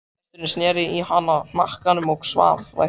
Gesturinn sneri í hana hnakkanum og svaf vært.